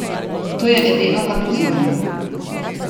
To je edino, kar poznamo.